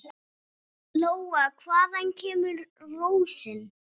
Lóa: Hvaðan kemur rósin?